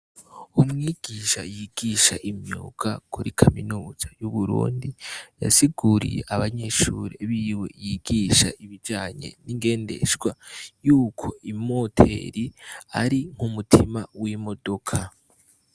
Umwigisha yigisha imyuga kuri kaminuza y'uburundi, yasiguriye abanyeshure biwe yigisha ibijanye n'ingendeshwa yuko imoteri ari nk'umutima w'imodoka.